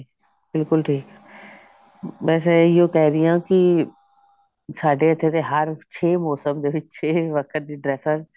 ਬਿਲਕੁੱਲ ਠੀਕ ਬਸ ਏਹਿਓ ਕਹਿ ਰਹੀ ਹਾਂ ਕਿ ਸਾਡੇ ਇੱਥੇ ਦੇ ਹਰ ਛੇ ਮੋਸਮ ਦੇ ਵਿੱਚ ਛੇ ਦੀ dress ਆ